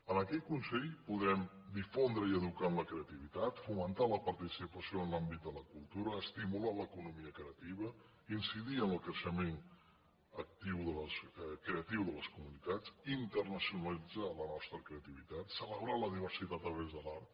amb aquest consell podrem difondre i educar en la creativitat fomentar la participació en l’àmbit de la cultura estimular l’economia creativa incidir en el creixement creatiu de les comunitats internacionalitzar la nostra creativitat celebrar la diversitat a través de l’art